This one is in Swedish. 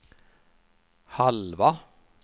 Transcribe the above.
halva